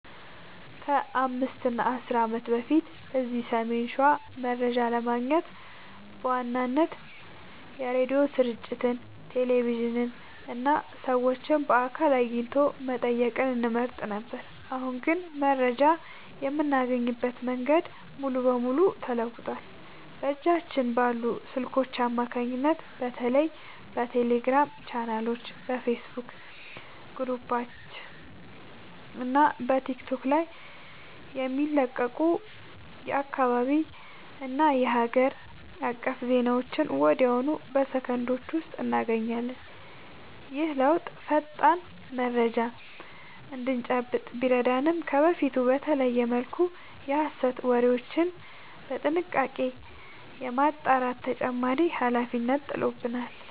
ከ5 እና 10 ዓመት በፊት እዚህ ሰሜን ሸዋ መረጃ ለማግኘት በዋናነት የሬዲዮ ስርጭቶችን፣ ቴሌቪዥንን እና ሰዎችን በአካል አግኝቶ መጠየቅን እንመርጥ ነበር። አሁን ግን መረጃ የምናገኝበት መንገድ ሙሉ በሙሉ ተለውጧል። በእጃችን ባሉ ስልኮች አማካኝነት በተለይ በቴሌግራም ቻናሎች፣ በፌስቡክ ግሩፖች እና በቲክቶክ ላይ የሚለቀቁ የአካባቢና የሀገር አቀፍ ዜናዎችን ወዲያውኑ በሰከንዶች ውስጥ እናገኛለን። ይህ ለውጥ ፈጣን መረጃ እንድንጨብጥ ቢረዳንም፣ ከበፊቱ በተለየ መልኩ የሐሰት ወሬዎችን በጥንቃቄ የማጣራት ተጨማሪ ኃላፊነት ጥሎብናል።